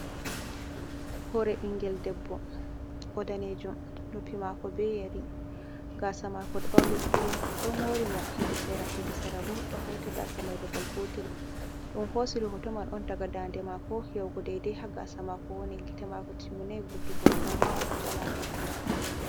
Hore ɓingel debbo, o danejo, noppi mako be yari, gasa mako bauli kurum, do mori mo hedi sera, hedi sara bo ɗo hauti gaasa mai babal gotel. Ɗum hosiri hoto man on daga ɗaande mako yahugo dai-dai ha gaasa mako woni, gita mako timminai vurtugo, amma o do jala ha hoto mai.